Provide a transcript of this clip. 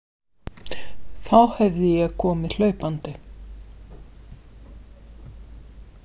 Þá hefði ég komið hlaupandi.